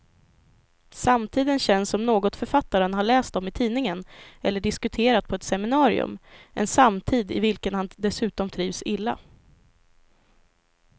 Samtiden känns som något författaren har läst om i tidningen eller diskuterat på ett seminarium, en samtid i vilken han dessutom trivs illa.